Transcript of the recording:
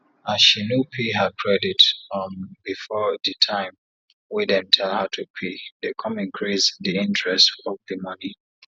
as she no pay her credit um before di time wey dem tell her to pay dem come increase di interest of di money